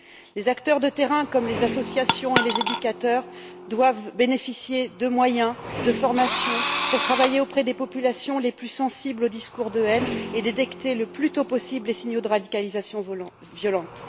Les acteurs de terrain, comme les associations et les éducateurs, doivent bénéficier de moyens, de formations pour travailler auprès des populations les plus sensibles aux discours de haine et détecter le plus tôt possible les signes de radicalisation violente.